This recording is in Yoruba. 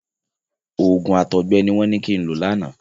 Òògùn àtọgbẹ ni wọ́n ní kin lo lánàá.